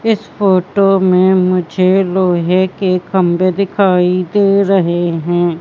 इस फोटो में मुझे लोहे के खंभे दिखाई दे रहे हैं।